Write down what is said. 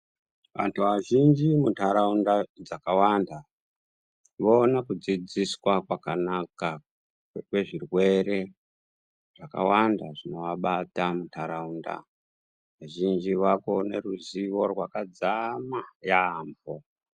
Antu azhinji muntaraunda dzakawanda voone kudzidziswa kwakakanaka kwezvirwere zvakawanda zvinoabata muntaraunda. Vazhinji vaakuone ruzivo rwakadzama yaampho.